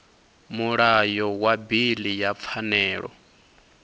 mulayo wa bili ya pfanelo